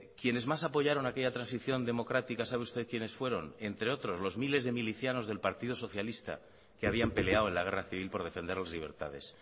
quienes más apoyaron aquella transición democrática sabe usted quiénes fueron entre otros los miles de milicianos del partido socialista que habían peleado en la guerra civil por defender las libertades